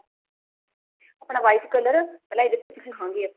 ਆਪਣਾ white color ਪਹਿਲਾਂ ਇਹਦੇ ਤੇ ਸਿੱਖਾ ਗੀ